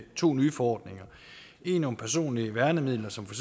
to nye forordninger en om personlige værnemidler som for